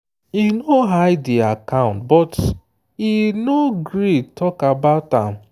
e no hide the accountbut e no gree talk about am.